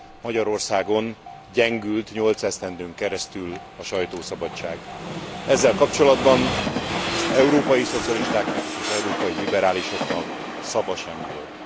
Magyarországon gyengült nyolc esztendőn keresztül a sajtószabadság. Ezzel kapcsolatban az európai szocialistáknak és az európai liberálisoknak szava sem volt.